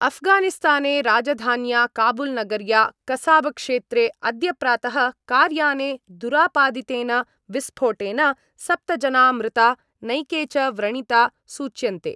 अफगानिस्ताने राजधान्या काबुलनगर्या कसाबक्षेत्रे अद्य प्रातः कार्याने दुरापादितेन विस्फोटेन सप्त जना मृता नैके च व्रणिता सूच्यन्ते।